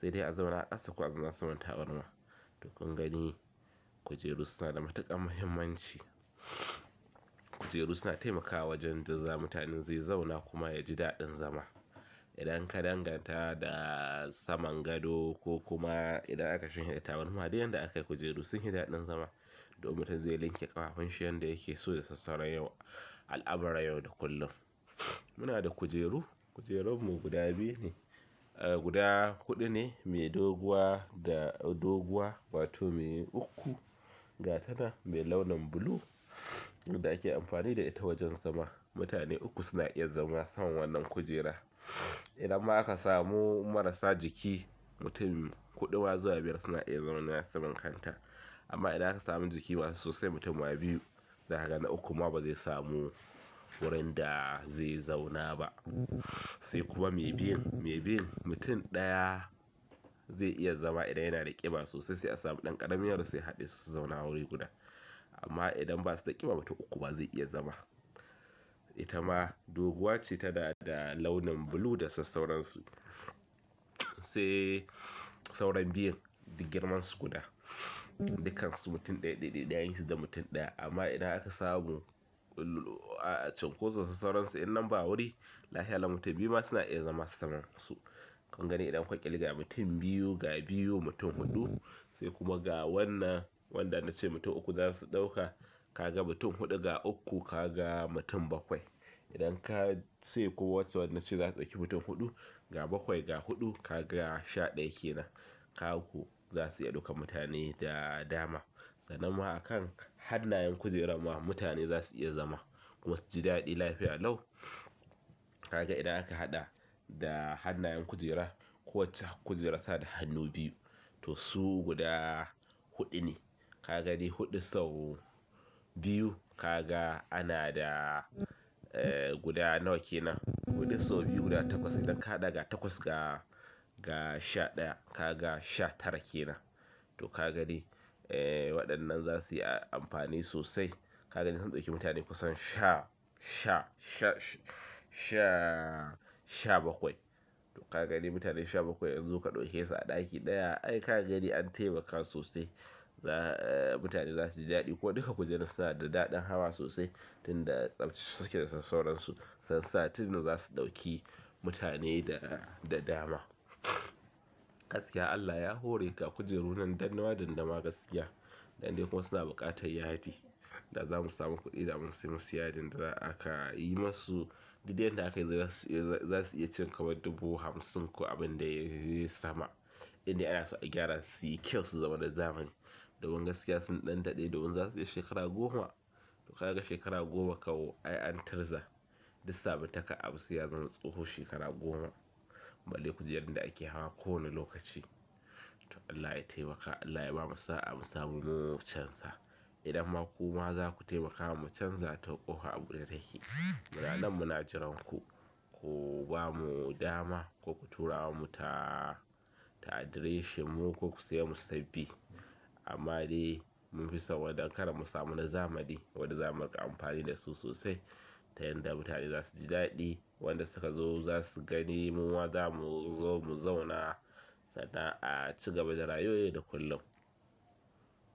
Sai dai azauna a ƙasa ko kuma saman tabarma to kun gani kujeru suna da matuƙar muhimmanci. Kujeru suna taimakawa wajen da za mutanen zai zauna kuma ya ji daɗin zama. Idan ka danganta da saman gado ko kuma idan aka shanye da tabarma dai yadda aka yi kujeru sun yi daɗin zama domin tazzar zai linke ƙafafun shi yadda yake so da sassauran yau al'amuran yau da kullum. Muna da kujeru, kujerunmu guda biyu ne, guda huɗu ne mai doguwa da doguwa wato mai uku, ga tana mai launin blue wadda ake amfani da ita wajen zama. Mutane uku suna iya zama saman wannan kujera. Idan ma a kasa mu marasa jiki mutum huɗu zuwa biyar suna zama kanta. Amma idan aka samu jiki masu sosai mutum biyu za ka gani, uku ma ba zai samu wurin da zai zauna ba. Sai kuma mai biyun, mai biyun mutum ɗaya zai iya zama idan yana da ƙiba sosai sai a samu ɗan ƙarami yaro sai haɗe su zauna wuri guda, amma idan ba su da ƙiba mutum uku ba zai iya zama. Ita ma doguwa ce tanada launi blue da sa sauran su sai sauran biyun girmansu guda, dukkan su mutum ɗaya, ɗaya, ɗaya yayi su da mutum ɗaya amma idan aka samu cunkoson sassauransu idan ba wuri lafiya lau mutum biyu ma suna iya zama saman su. Ka gani idan ka ƙirga mutum biyu, ga biyu mutum huɗu sai kuma ga wannan wanda na ce mutum uku za su ɗauka ka ga mutum huɗu ga uku ka ga mutum bakwai. Idan ka ce kuwa wacce, na ce za ka ɗauki mutum huɗu ga bakwai ga huɗu ka ga sha ɗaya ke nan. Kaku za su iya ɗaukan mutane da dama. Sana ma a kan hannayen kujerarmu mutane za su iya zama kuma su ji daɗin lafiya lau. Ka ga idan aka haɗa da hannayen kujera kowacce kujera suna da hannu biyu to su guda huɗu ne. Ka ga ni huɗu sau biyu ka ga ana da guda nawa ke nan. Huɗu sau biyu guda takwas idan ka haɗa ga takwas ga, ga sha ɗaya ka ga sha tara ke nan. To ka ga dai waɗannan za su iya amfani sosai. Ka ga ni zan ɗauki mutane kusan sha, sha, sha, sha, sha bakwai. To ka ga ni mutane sha bakwai in zo ka ɗauke su a ɗaki ɗaya ai ka ga ni an taimaka sosai. Mutane za su ji daɗi ko duka kujerun suna da daɗin hawa sosai, tun da tsamtsa suke da sas sauransu. Sun sa tun da za su ɗauki mutane da dama. Gaskiya Allah ya hore, ga kujeru nan dandama-dandama da suwa da ma gaskiya. Dan dai kuma wasu na buƙatar yadi da za mu samu ku idan mun sayi musu yadin da za aka yi musu. Duk dai yadda aka yi baza su iya cin ka ma dubu hamsin ko abin da ya yi sama. Inda ana so a gyara su yi kyau su zama na zamani. Dun gaskiya suna ɗan daɗe domin za su iya kai shekara goma. Kaga shekarar goma kan an turza du sabuntaka abu ai yazama tsoho shekara gomq ba le kujerun da ake hawa kowane lokaci. To Allah ya taimaka, Allah ya bamu sa'a mu samu mu canza. Idan ma ku ma, za ku taimaka mu canza to ƙofa abu ɗe take. Muna nan muna jiranku ko ba mu dama, ko ku tura mu ta, ta adireshin mu ko ku sayi mu na sabbi. Amma dai mun fisa wannan don ƙara mu samu na zamani wanda za mu riƙa amfani da su sosai. Ta yanda mutane za su ji daɗi, waɗanda suka zo za su gani mun wa za mu zo mu zauna sana'a cigaba da rayuwa yau da kullum.